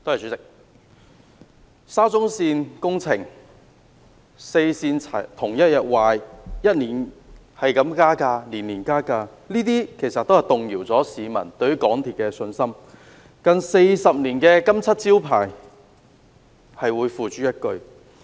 代理主席，沙田至中環線工程、四線同日故障、票價年年增加，這些都動搖了市民對香港鐵路有限公司的信心，令近40年的"金漆招牌"付之一炬。